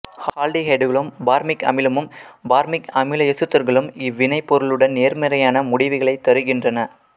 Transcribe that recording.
ஆல்டிகைடுகளும் formic அமிலமும் formic அமில எசுத்தர்களும் இவ்வினைப் பொருளுடன் நேர்மறையான முடிவுகளையே தருகின்றன